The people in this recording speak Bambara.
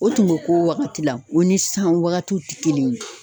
O tun bɛ k'o wagati la, o ni san wagatiw tɛ kelen ye.